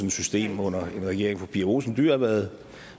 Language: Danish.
et system under en regering hvor fru pia olsen dyhr har været